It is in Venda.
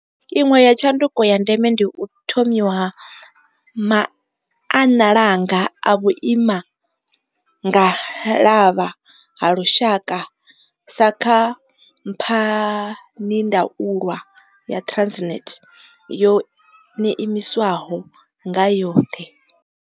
Iṅwe ya tshanduko ya ndeme ndi u thomiwa ha maannalanga a vhuimanga lavha ha lushaka sa kha mphanindaulwa ya Transnet yo imiswaho nga yoṱhe.